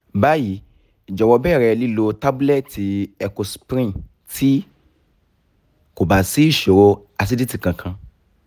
bayi jọwọ bẹrẹ lilo tabulẹti ecosprin ti ko ba si iṣoro aciditi kankan